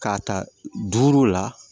K'a ta duuru la